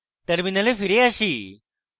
terminal ফিরে আসি